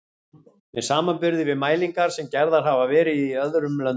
með samanburði við mælingar sem gerðar hafa verið í öðrum löndum.